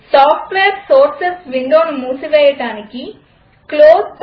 software sources విండోను మూసివేయడానికి Closeపై క్లిక్ చేయండి